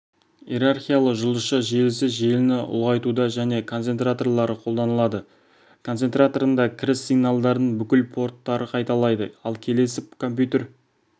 иерархиялы жұлдызша желісі желіні ұлғайтуда және концентраторлары қолданылады концентраторында кіріс сигналдарын бүкіл порттары қайталайды ал келесі компьютер